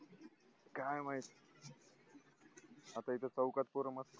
काय माहित अस इथ